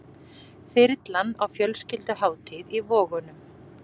Þyrlan á fjölskylduhátíð í Vogunum